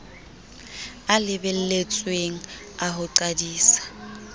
a lebelletsweng a ho qadisa